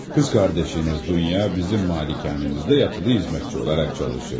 Qız qardaşınız Dunya bizim malikanəmizdə yatılı xidmətçi olaraq çalışırdı.